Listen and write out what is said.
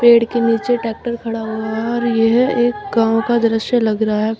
पेड़ के नीचे ट्रैक्टर खड़ा हुआ और यह एक गांव का दृश्य लग रहा है।